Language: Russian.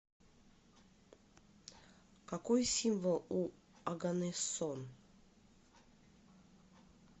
какой символ у оганесон